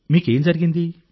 మీకు ఏం జరిగింది